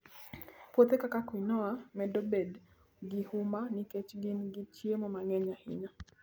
Puothe kaka quinoa medo bedo gi huma nikech gin gi chiemo mang'eny ahinya.